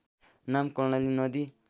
नाम कर्णाली नदी